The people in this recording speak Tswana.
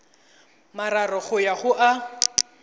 mararo go ya go a